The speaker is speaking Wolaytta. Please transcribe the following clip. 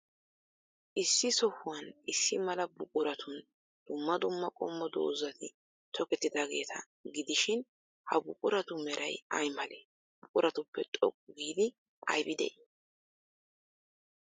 Issi sohuwan issi mala buquratun dumma dumma qommo dozati tokkettidaageeta gidishin, ha buquratu meray ay malee? buquratuppe xoqqu giidi aybi de'ii?